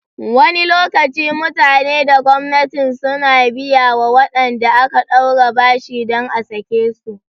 Wani lokaci mutane da gwamnatin suna biyawa waɗanda aka ɗaure bashi dan a sake su